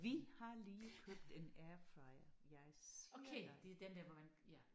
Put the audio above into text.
Vi har lige købt en airfryer jeg siger dig